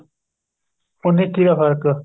ਉੰਨੀ ਇੱਕੀ ਦਾ ਫ਼ਰਕ